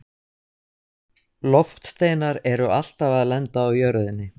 Loftsteinar eru alltaf að lenda á jörðinni.